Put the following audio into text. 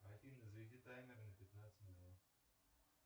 афина заведи таймер на пятнадцать минут